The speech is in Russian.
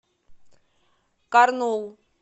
карнул